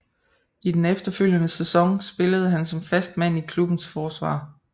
I den efterfølgende sæson spillede han som fast mand i klubbens forsvar